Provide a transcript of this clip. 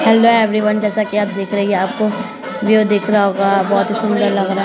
hello everyone जैसा की आप देख रहे हैं यह आपको व्यू दिख रहा होगा बहुत ही सुन्दर लग रहा --